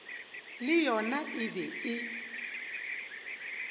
le yona e be e